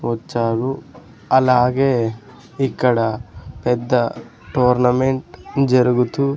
వచ్చాను అలాగే ఇక్కడ పెద్ద టోర్నమెంట్ జరుగుతూ--